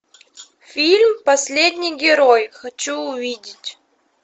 фильм последний герой хочу увидеть